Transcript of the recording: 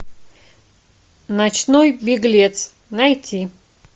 ночной беглец найти